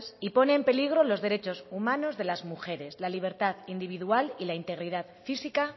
y pone en peligro los derechos humanos de las mujeres la libertad individual y la integridad física